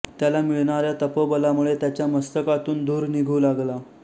त्याला मिळणाऱ्या तपोबलामुळे त्याच्या मस्तकातून धूर निघू लागला